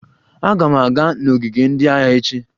Aga m aga n'ogige ndị agha echi